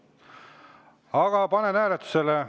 Aga panen hääletusele.